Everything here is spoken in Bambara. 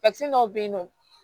dɔw bɛ yen nɔ